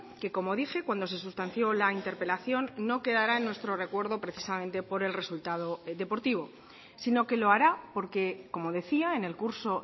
que como dije cuando se sustanció la interpelación no quedará en nuestro recuerdo precisamente por el resultado deportivo sino que lo hará porque como decía en el curso